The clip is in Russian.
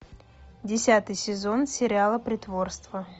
десятый сезон сериала притворство